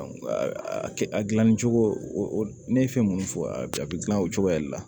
a gilanni cogo ne ye fɛn minnu fɔ a bi a bɛ gilan o cogoya de la